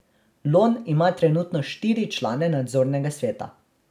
Lon ima trenutno štiri člane nadzornega sveta.